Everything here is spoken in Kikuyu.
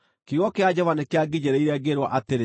Kiugo kĩa Jehova nĩkĩanginyĩrĩire, ngĩĩrwo atĩrĩ: